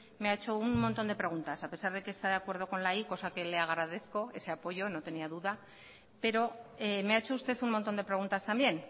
me ha hecho un montón de preguntas a pesar de que está de acuerdo con la y cosa que le agradezco ese apoyo no tenía duda pero me ha hecho usted un montón de preguntas también